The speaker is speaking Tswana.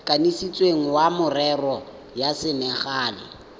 kanisitsweng wa merero ya selegae